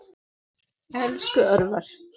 Elsku Örvar.